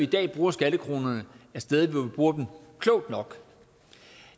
dag bruger skattekronerne er steder hvor vi bruger dem klogt nok